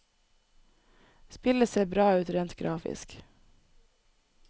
Spillet ser bra ut rent grafisk.